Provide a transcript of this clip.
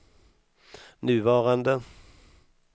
nuvarande